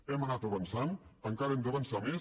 hem anat avançant encara hem d’avançar més